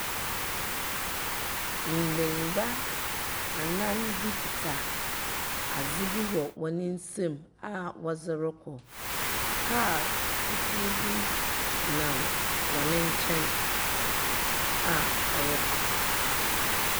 Mbenyi ba anan bi keta adze bi wɔ wɔn nsem aa wɔdze rekɔ. Kaar fufuw bi nam wɔne nkyɛn aa ɔrekɔ.